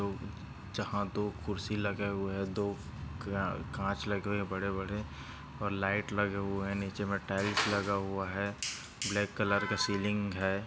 जहा दो खुर्सी लगे हुए है दो का काच लगे हुये है बड़े-बड़े लाइट लगे हुये है नीचे मैं टाइल्स लगा हुआ है। ब्लॅक कलर का सीलिंग है।